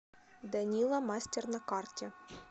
данила мастер на карте